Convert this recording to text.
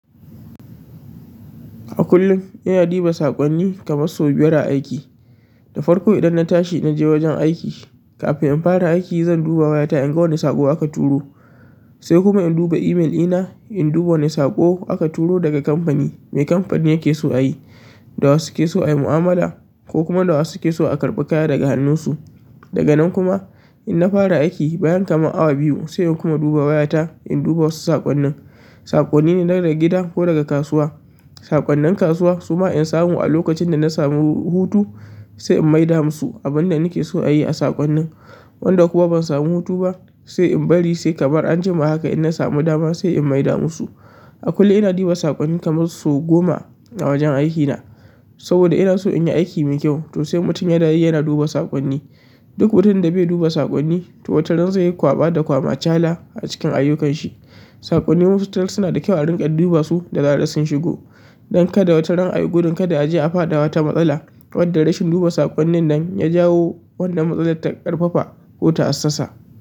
A kullum ina duba saƙonni kamar sau biyar a aiki. Da farko idan na tashi na je wajen aiki, kafin in fara aiki zan duba wayata in ga wane saƙo aka turo, sai kuma in duba imel ɗina in duba wane saƙo aka turo daga kamfani. Me kamfanin yake so a yi, da wa suke so ayi mu'amala ko kuma da wasu suke so a karɓi kaya daga hannunsu. Daga nan kuma in na fara aiki bayan kamar awa biyu sai in kuma duba wayata in duba wasu saƙonnin. Saƙonni ne daga gida ko daga kasuwa. Saƙonnin kasuwa suma in samu a lokacin da na samu hutu, sai in maida musu abin da nake so a yi a saƙonnin. Wanda kuma ban samu hutu ba, sai in bari sai kamar an jima haka in na samu dama sai in maida musu. A kullum ina duba saƙonni kamar sau goma a wajen aiki na. Saboda ina so in yi aiki mai kyau. To sai mutum ya na yi ya na duba saƙonni. Duk mutumin da bai duba saƙonni to wataran zai yi kwaɓa da kwamachala a cikin ayyukanshi. Saƙonni mafitar suna da kyau a riƙa duba su da zarar sun shigo don kada wataran ayi gudun kada aje a faɗa wata matsalar. Waɗanda rashin duba saƙonnin nan ya jawo wannan matsalar ta ƙarfafa ko ta hassasa.